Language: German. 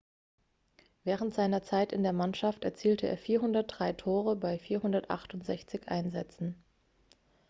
während seiner zeit in der mannschaft erzielte er 403 tore bei 468 einsätzen